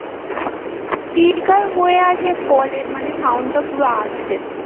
speaker হয়ে আছে call এর মানে sound টা পুরো আসছে